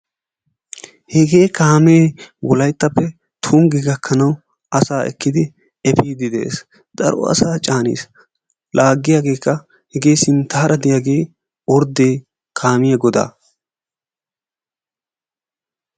hege kaamee wolayttappe tunggi gakkanaw ekkidi asaa epidi de'ees. daro asaa caanis, laagiyageekka hegee sinttaar diyaagee orddee kaamiya godaa.